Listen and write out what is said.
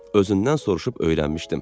Özündən soruşub öyrənmişdim.